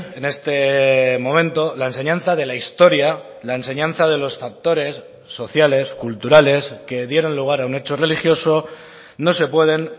en este momento la enseñanza de la historia la enseñanza de los factores sociales culturales que dieron lugar a un hecho religioso no se pueden